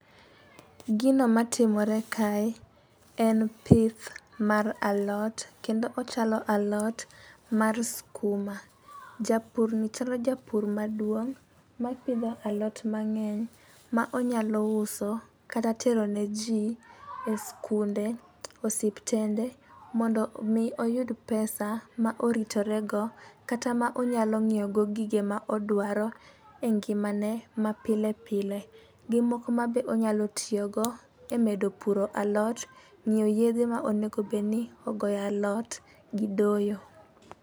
Gino matimore kae en pith mar alot kendo ochalo alot mar skuma. Japur ni chalo japur maduong' mapidho alot mang'eny ma onyalo uso kata tero ne jii e skunde, osiptende mondo mi oyud pesa ma oritore go kata ma onyalo nyiewo go gige ma odwaro e ngima ne ma pile pile gi moko mabe onyalo tiyo go e medo puro alot, ng'iewo yedhe ma onego bedni onego bedni ogoye alot gi doyo.